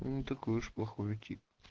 ну не такой уж плохой и тип